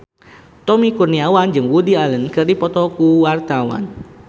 Tommy Kurniawan jeung Woody Allen keur dipoto ku wartawan